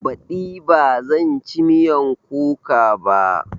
Baɗi ba zan ci miyan kuka ba